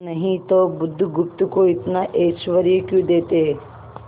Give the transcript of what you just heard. नहीं तो बुधगुप्त को इतना ऐश्वर्य क्यों देते